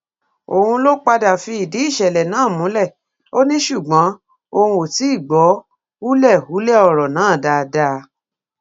òun ló padà fìdí ìṣẹlẹ náà múlẹ ò ní ṣùgbọn òun ò tí ì gbọ hùlẹbúlẹ ọrọ náà dáadáa